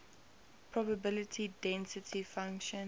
probability density function